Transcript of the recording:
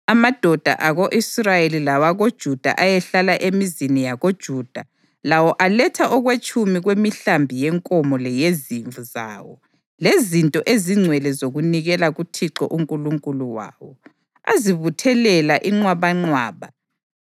Amadoda ako-Israyeli lawakoJuda ayehlala emizini yakoJuda lawo aletha okwetshumi kwemihlambi yenkomo leyezimvu zawo lezinto ezingcwele zokunikela kuThixo uNkulunkulu wawo, azibuthelela inqwabanqwaba.